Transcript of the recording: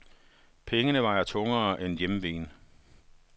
Pengene vejer tungere end hjemveen.